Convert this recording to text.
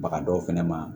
Baga dɔw fɛnɛ ma